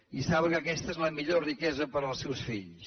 i saben que aquesta és la millor riquesa per als seus fills